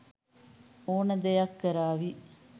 ඕන දෙයක් කරාවි.